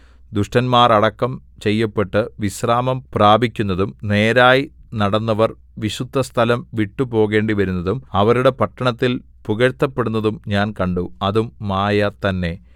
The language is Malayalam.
ദുഷ്ടന്മാർ അടക്കം ചെയ്യപ്പെട്ട് വിശ്രാമം പ്രാപിക്കുന്നതും നേരായി നടന്നവർ വിശുദ്ധസ്ഥലം വിട്ടുപോകേണ്ടിവരുന്നതും അവരുടെ പട്ടണത്തിൽ പുകഴ്ത്തപെടുന്നതും ഞാൻ കണ്ടു അതും മായ തന്നെ